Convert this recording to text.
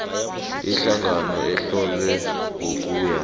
ihlangano ehlonywe ngokuya